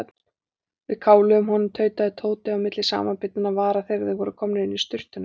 Við kálum honum tautaði Tóti milli samanbitinna vara þegar þeir voru komnir inn í sturtuna.